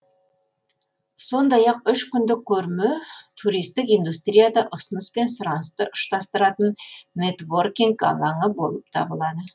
сондай ақ үш күндік көрме туристік индустрияда ұсыныс пен сұранысты ұштастыратын нетворкинг алаңы болып табылады